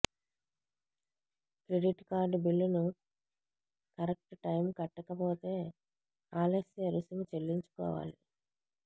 credit card బిల్లును correct time కట్టకపోతే ఆలస్య రుసుము చెల్లించుకోవాలి